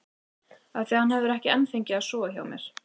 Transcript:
Af því að hann hefur ekki enn fengið að sofa hjá mér.